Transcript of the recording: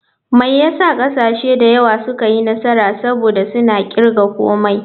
Me yasa kasashe da yawa suka yi nasara, saboda suna kirga komai.